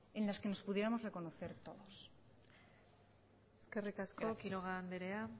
en las que nos pudiéramos reconocer todos gracias eskerrik asko quiroga anderea